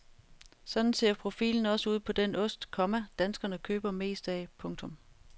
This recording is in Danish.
Sådan ser profilen også ud på den ost, komma danskerne køber mest af. punktum